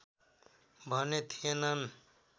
भने थिएनन्